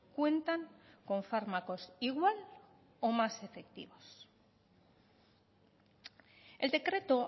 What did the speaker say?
cuentan con fármacos igual o más efectivos el decreto